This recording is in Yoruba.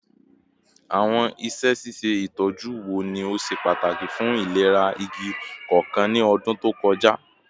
Awọn iṣẹ ṣiṣe itọju wo ni o ṣe pataki fun ilera igi koko ni ọdun to kọja?